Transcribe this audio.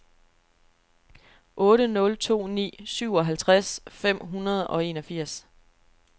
otte nul to ni syvoghalvtreds fem hundrede og enogfirs